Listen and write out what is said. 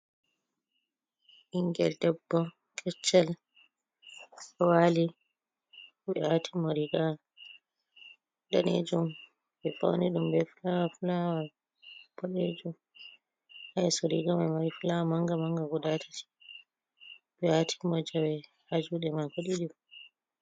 Ɓingel debbo keccel ɗo waali. Ɓe waatini mo riiga daneejum, ɓe fauni ɗum be fulawa-fulawa boɗejum. Haa yeso riga mai ma fulawa manga-manga guda tati. Ɓe waatini mo jawe haa juuɗe maako ɗiɗi.